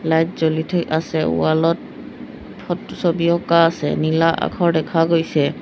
Light জ্বলি থৈ আছে ৱাল ত ফট ছবি অঁকা আছে নীলা আখৰ দেখা গৈছে।